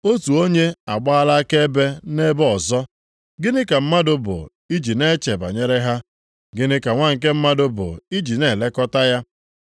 Otu onye agbaala akaebe nʼebe ọzọ, “Gịnị ka mmadụ bụ i ji na-eche banyere ha? Gịnị ka nwa nke mmadụ bụ iji na-elekọta ya?